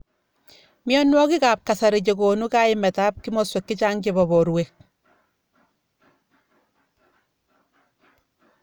Mnyonwokik ab kasari chekonu kaimet ab kimoswek chechang chebo borwek.